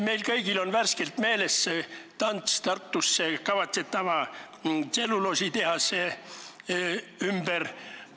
Meil kõigil on värskelt meeles tants Tartusse kavatsetud tselluloositehase ümber.